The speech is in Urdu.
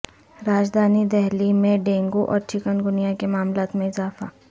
راجدھانی دہلی میں ڈینگو اور چکن گونیا کے معاملات میں اضافہ